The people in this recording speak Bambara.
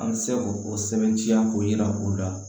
An bɛ se k'o sɛbɛntiya k'o yira o la